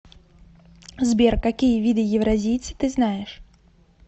сбер какие виды евразийцы ты знаешь